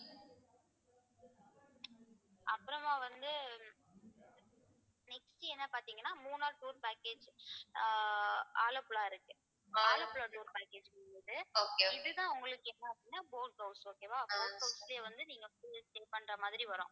அப்புறமா வந்து next என்ன பார்த்தீங்கன்னா மூணார் tour package ஆஹ் ஆலப்புழா இருக்கு ஆலப்புழா tour package இருக்கு இதுதான் உங்களுக்கு என்ன அப்படின்னா boat house okay வா boat house லயே வந்து நீங்க full ஆ பண்ற மாதிரி வரும்